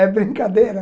É brincadeira.